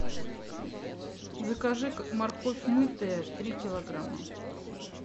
закажи морковь мытая три килограмма